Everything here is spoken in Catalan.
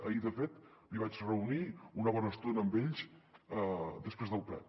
ahir de fet m’hi vaig reunir una bona estona amb ells després del ple